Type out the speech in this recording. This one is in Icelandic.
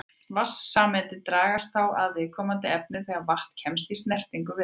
Vatnssameindirnar dragast þá að viðkomandi efni þegar vatn kemst í snertingu við það.